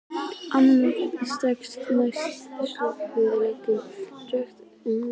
Annað skref: Næst skulið þið leggja drög að samkomulagi.